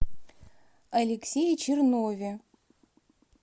алексее чернове